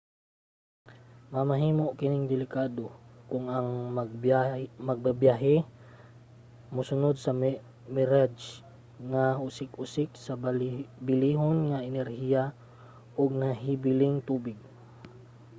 mamahimo kining delikado kung ang magbabyahe musunod sa mirage nga usik-usik sa bilihon nga enerhiya ug nahibiling tubig